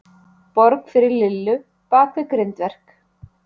Borg fyrir Lillu bakvið grindverk.